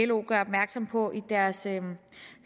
lo gør opmærksom på i deres